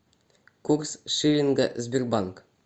курс шиллинга сбербанк